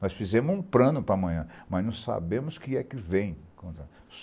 Nós fizemos um plano para amanhã, mas não sabemos que é que vem.